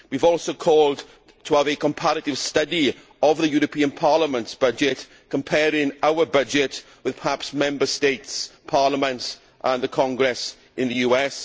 We have also called for a comparative study of the European Parliament's budget, comparing our budget with, perhaps, Member States' parliaments and the Congress in the US.